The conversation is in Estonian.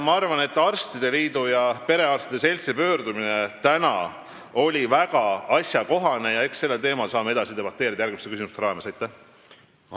Ma arvan, et arstide liidu ja perearstide seltsi tänane pöördumine oli väga asjakohane ja eks saame sellel teemal järgmiste küsimuste raames edasi debateerida.